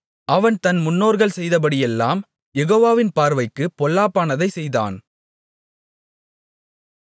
அவன் தன் முன்னோர்கள் செய்தபடியெல்லாம் யெகோவாவின் பார்வைக்குப் பொல்லாப்பானதைச் செய்தான்